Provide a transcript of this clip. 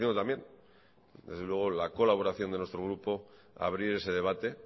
también la colaboración de nuestro grupo a abrir ese debate